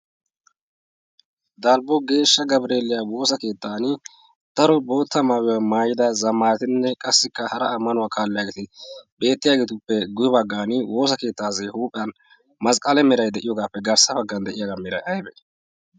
dalbbo geeshsha gabreeliya woosa keettan daro bootta maawiywaa maayida zamaatinne qassikka hara ammanuwaa kaalliyageeti beettiyaageetuppe guyi baggan woosa keettaassi huuphiyan masqqale mirai de7iyoogaappe garssa baggan de7iyaagaa mirai aibe?